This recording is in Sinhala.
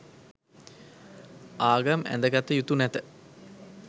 ආගම් ඇඳ ගත යුතු නැත.